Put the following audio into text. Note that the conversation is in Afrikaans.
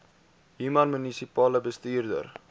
human munisipale bestuurder